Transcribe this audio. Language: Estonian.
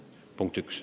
See on punkt üks.